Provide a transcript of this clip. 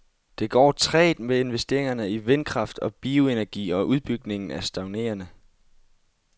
Det går trægt med investeringerne i vindkraft og bioenergi, og udbygningen er stagnerende.